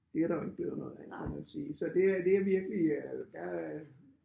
Det er der jo ikke det jo noget andet kan man sige så det det er virkelig øh der